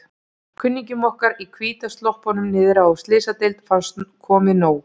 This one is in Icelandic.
Kunningjum okkar í hvítu sloppunum niðri á Slysadeild fannst komið nóg.